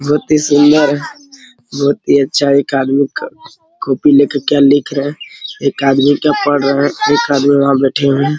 बहुत ही सुन्दर है बहुत ही अच्छा एक आदमी क कॉपी ले कर क्या लिख रहा है एक आदमी क्या पढ़ रहा है एक आदमी वहा बैठे हुए है।